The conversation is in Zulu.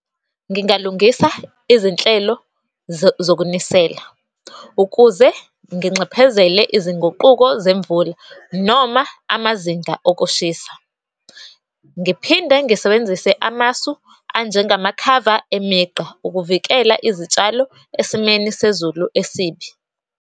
Ngingalungisa izinhlelo zokunisela, ukuze nginxephezele izinguquko zemvula noma amazinga okushisa. Ngiphinde ngisebenzise amasu anjengamakhava emigqa ukuvikela izitshalo esimeni sezulu esibi.